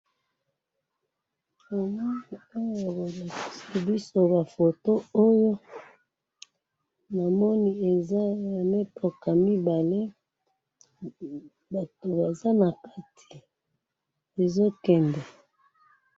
Photo oyo na moni mitoka mibale ezo kende